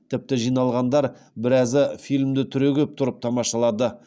тіпті жиналғандар біразы фильмді түрегеп тұрып тамашалады